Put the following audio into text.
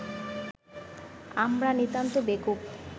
আমরা নিতান্ত বেকুব